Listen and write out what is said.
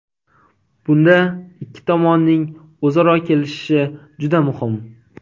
Bunda ikki tomonning o‘zaro kelishishi juda muhim.